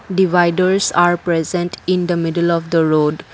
dividers are present in the middle of the road.